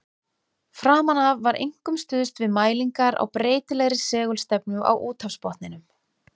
Framan af var einkum stuðst við mælingar á breytilegri segulstefnu á úthafsbotninum.